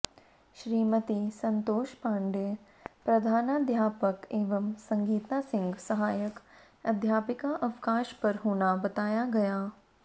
श्रीमती संतोष पाण्डेय प्रधानाध्यापक एवं संगीता सिंह सहायक अध्यापिका अवकाश पर होना बताया गया